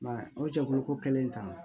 I m'a ye o jɛkulu ko kɛlen ta